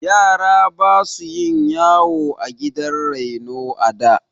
Yara basu yin yawa a gidan raino a da.